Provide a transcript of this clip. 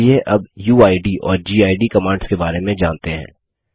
चलिए अब उइद और गिड कमांड्स के बारे में जानते हैं